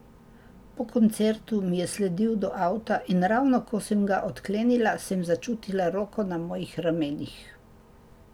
Po koncertu mi je sledil do avta in ravno ko sem ga odklenila, sem začutila roko na mojih ramenih.